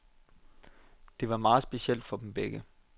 Det var meget specielt for dem begge.